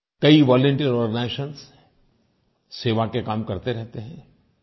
कई volunteer organisations सेवा के काम करते रहते हैं